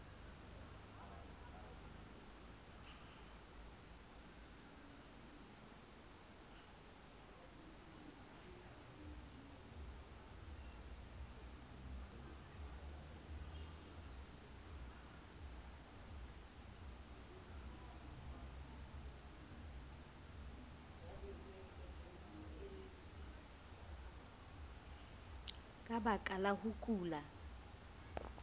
ka baka la ho kula